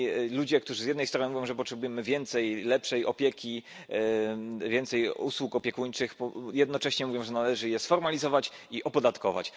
Ludzie, którzy z jednej strony mówią, że potrzebujemy więcej lepszej opieki, więcej usług opiekuńczych, jednocześnie mówią, że należy je sformalizować i opodatkować.